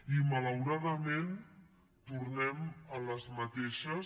i malauradament tornem a les mateixes